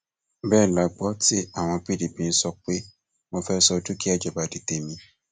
bẹẹ la gbọ tí àwọn pdp ń sọ pé mo fẹẹ sọ dúkìá ìjọba di tèmi